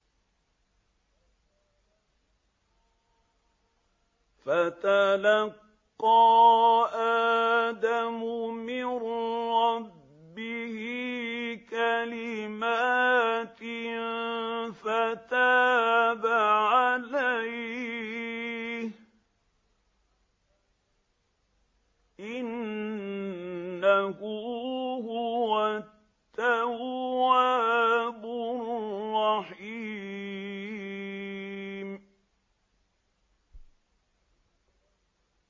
فَتَلَقَّىٰ آدَمُ مِن رَّبِّهِ كَلِمَاتٍ فَتَابَ عَلَيْهِ ۚ إِنَّهُ هُوَ التَّوَّابُ الرَّحِيمُ